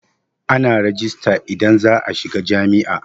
Ana rejista idan za'a shiga jam'iyya.